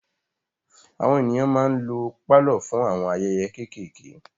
Àwọn ènìyàn ma ń lo pálọ̀ fún àwọn ayẹyẹ kéékéèké.